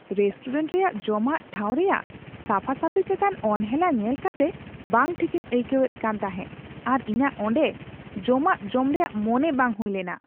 Restaurant ᱨᱮᱭᱟᱜ ᱡᱚᱢᱟᱜ ᱴᱷᱟᱶ ᱨᱮᱭᱟᱜ ᱥᱟᱯᱷᱟ ᱥᱟᱹᱯᱤ ᱪᱮᱛᱟᱱ ᱚᱱᱦᱮᱞᱟ ᱧᱮᱞ ᱠᱟᱛᱮ ᱵᱟᱝ ᱴᱷᱤᱠ ᱤᱧ ᱟᱹᱭᱠᱟᱹᱣᱮᱫ ᱠᱟᱱᱛᱟᱦᱮᱸ ᱟᱨ ᱤᱧᱟᱹᱜ ᱚᱸᱰᱮ ᱡᱚᱢᱟᱜ ᱡᱚᱢ ᱨᱮᱭᱟᱜ ᱢᱚᱱᱮ ᱵᱟᱝ ᱦᱩᱭᱞᱮᱱᱟ ᱾